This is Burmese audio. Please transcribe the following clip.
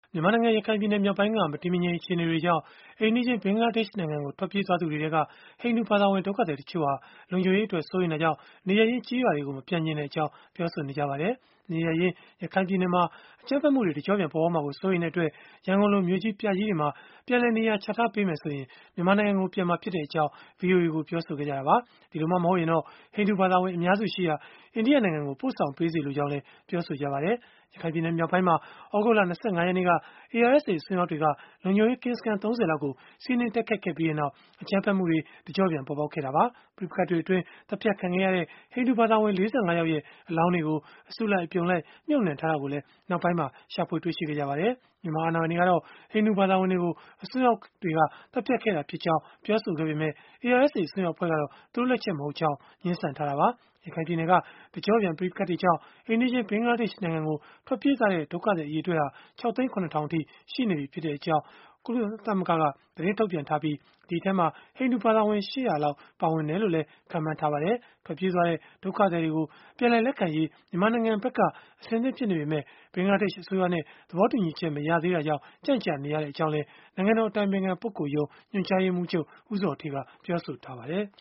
မြန်မာနိုင်ငံ ရခိုင်ပြည်နယ်မြောက်ပိုင်းက မတည်မငြိမ် အခြေအနေတွေကြောင့် အိမ်နီးချင်း ဘင်္ဂလားဒေ့ရှ်နိုင်ငံကို ထွက်ပြေးသွားသူတွေထဲက ဟိန္ဒူဘာသာဝင် ဒုက္ခသည်တွေထဲက တချို့ဟာ လုံခြုံရေးအတွက် စိုးရိမ်တာကြောင့် နေရပ်ရင်း ကျေးရွာတွေကို မပြန်လိုကြောင်း ပြောဆိုနေကြပါတယ်။ နေရပ်ရင်း ရခိုင်ပြည်နယ်မှာ အကြမ်းဖက်မှုတွေ တကျော့ပြန် ပေါ်ပေါက်မှာကို စိုးရိမ်တဲ့အတွက်၊ ရန်ကုန်လို မြို့ကြီးပြကြီးတွေမှာ ပြန်လည်နေရာချထားပေးမယ်ဆိုရင် မြန်မာနိုင်ငံကို ပြန်မှာဖြစ်ကြောင်း ဗွီအိုအေကို ပြောဆိုခဲ့ကြတာပါ။ ဒီလိုမှ မဟုတ်ရင်တော့ ဟိန္ဒူဘာသာဝင် အများစုရှိရာ အိန္ဒိယနိုင်ငံကို ပို့ဆောင်ပေးစေလိုကြောင်းလည်း ပြောပါတယ်။ ရခိုင်ပြည်နယ်မြောက်ပိုင်းမှာ သြဂုတ်လ ၂၅ ရက်နေ့က ARSA အစွန်းရောက်တွေက လုံခြုံရေးကင်းစခန်း ၃၀ လောက်ကို စီးနင်းတိုက်ခိုက်ခဲ့ပြီးနောက် အကြမ်းဖက်မှုတွေ တကျော့ပြန် ပေါ်ပေါက်ခဲ့တာပါ။ ပဋိပက္ခတွေအတွင်း သတ်ဖြတ်ခံခဲ့ရတဲ့ ဟိန္ဒူဘာသာဝင် ၄၅ ယောက်ရဲ့ အလောင်းတွေကို အစုလိုက် အပြုံလိုက် မြုပ်နှံထားတာကိုလည်း နောက်ပိုင်းမှာ ရှာဖွေတွေ့ရှိခဲ့ကြပါတယ်။ မြန်မာအာဏာပိုင်တွေကတော့ ဟိန္ဒူဘာသာဝင်တွေကို အစွန်းရောက်တွေက သတ်ဖြတ်ခဲ့တာဖြစ်ကြောင်း ပြောဆိုခဲ့ပေမဲ့ ARSA အစွန်းရောက်အဖွဲ့ကတော့ သူတို့လက်ချက်မဟုတ်ကြောင်း ငြင်းဆန်ထားတာပါ။ ရခိုင်ပြည်နယ်က တကျော့ပြန် ပဋိပက္ခတွေကြောင့် အိမ်နီးချင်း ဘင်္ဂလားဒေ့ရှ် နိုင်ငံကို ထွက်ပြေးသွားတဲ့ ဒုက္ခသည် အရေအတွက်ဟာ ၆၀,၇၀၀၀ အထိ ရှိနေပြီဖြစ်ကြောင်း ကုလသမဂ္ဂက သတင်းထုတ်ပြန်ထားပြီး၊ ဒီအထဲမှာ ဟိန္ဒူဘာသာဝင် ၈၀၀ လောက် ပါဝင်တယ်လို့လည်း ခန့်မှန်းထားပါတယ်။ ထွက်ပြေးသွားတဲ့ ဒုက္ခသည်တွေကို ပြန်လည်လက်ခံရေး မြန်မာနိုင်ငံဘက်က အဆင်သင့် ဖြစ်နေပေမဲ့ ဘင်္ဂလားဒေ့ရှ်အစိုးရနဲ့ သဘောတူညီချက် မရသေးတဲ့အတွက် ကြန့်ကြာနေရကြောင်းလည်း နိုင်ငံတော် အတိုင်ပင်ခံပုဂ္ဂိုလ်ရုံး ညွှန်ကြားရေးမှူးချုပ် ဦးဇော်ဌေးက ပြောဆိုထားပါတယ်။